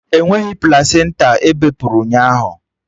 Enweghị plasenta ebepụrụ ụnyaahụ!